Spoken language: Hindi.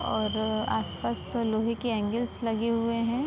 और आस-पास लोहे के एंगल्स लगे हुए हैं।